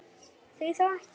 Því þá ekki?